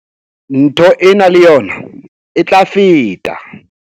Ntho ena le yona e tla feta.